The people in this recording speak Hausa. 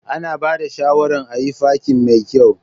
Ana ba da shawaran ayi fakin mai kyau.